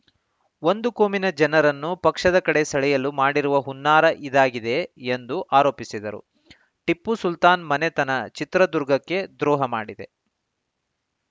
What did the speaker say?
ಒಂದು ಕೋಮಿನ ಜನರನ್ನು ಪಕ್ಷದ ಕಡೆ ಸೆಳೆಯಲು ಮಾಡಿರುವ ಹುನ್ನಾರ ಇದಾಗಿದೆ ಎಂದು ಆರೋಪಿಸಿದರು ಟಿಪ್ಪು ಸುಲ್ತಾನ್‌ ಮನೆತನ ಚಿತ್ರದುರ್ಗಕ್ಕೆ ದ್ರೋಹ ಮಾಡಿದೆ